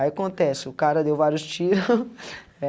Aí acontece, o cara deu vários tiro.